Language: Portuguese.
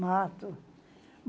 Mato.